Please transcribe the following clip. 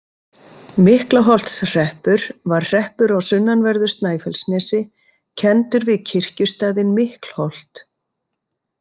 Miklaholtshreppur var hreppur á sunnanverðu Snæfellsnesi, kenndur við kirkjustaðinn Miklholt.